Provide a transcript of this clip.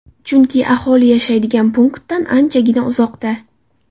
Chunki aholi yashaydigan punktdan anchagina uzoqda.